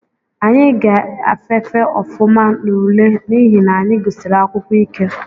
Anyị ga-afafe ofụma n’ule n’ihi na anyị gusiri akwụkwọ ike